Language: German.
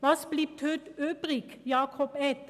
Was bleibt heute übrig, Grossrat Etter?